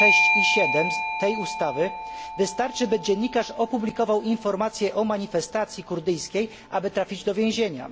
6 i 7 tej ustawy wystarczy, by dziennikarz opublikował informację o manifestacji kurdyjskiej, aby trafił do więzienia.